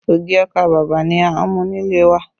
Ogi ọkà bàbà ni a ń mú nílé wa